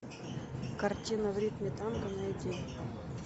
картина в ритме танго найди